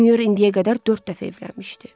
Mür indiyə qədər dörd dəfə evlənmişdi.